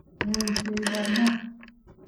Meutie ibar mat